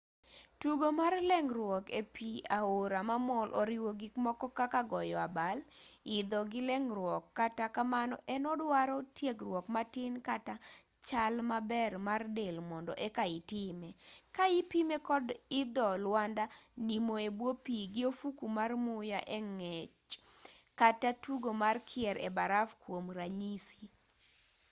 tugo mar leng'ruok e pi aora mamol oriwo gikmoko kaka goyo abal idho gi leng'ruok--kata kamano en oduaro tiegruok matin kata chal maber mar del mondo eka itime ka ipime kod idho lwanda nimo e bwo pi gi ofuku mar muya e ng'ech kata tugo mar kier e baraf kwom ranyisi